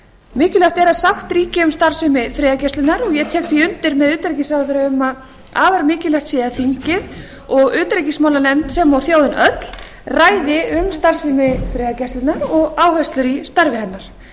mikilvægt er að sátt ríki um starfsemi friðargæslunnar og ég tek því undir með utanríkisráðherra um að afar mikilvægt sé að þingið og utanríkismálanefnd sem og þjóðin öll ræði um starfsemi friðargæslunnar og áherslur í starfi hennar